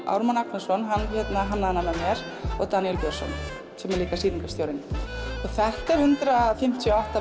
Ármann Agnarsson hann hannaði hana með mér og Daníel Björnsson sem er líka sýningarstjórinn og þetta er hundrað fimmtíu og átta